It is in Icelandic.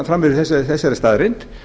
frammi fyrir þessari staðreynd